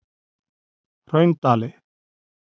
Hraundali